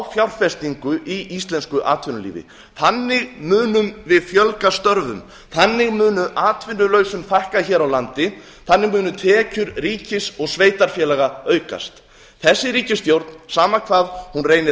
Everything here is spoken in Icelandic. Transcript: fjárfestingu í íslensku atvinnulífi þannig munum við fjölga störfum þannig mun atvinnulausum fækka hér á landi þannig munu tekjur ríkis og sveitarfélaga aukast þessi ríkisstjórn sama hvað hún reynir að